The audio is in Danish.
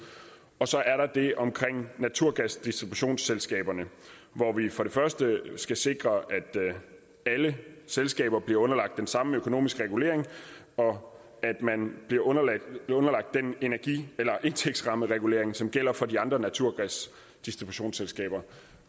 og så er der det om naturgasdistributionsselskaberne hvor vi skal sikre at alle selskaber bliver underlagt den samme økonomiske regulering og at man bliver underlagt den indtægtsrammeregulering som gælder for de andre naturgasdistributionsselskaber